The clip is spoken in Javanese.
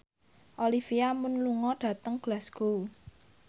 Olivia Munn lunga dhateng Glasgow